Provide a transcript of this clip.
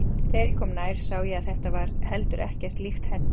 Þegar ég kom nær sá ég að þetta var heldur ekkert líkt Herði.